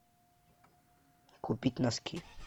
купить носки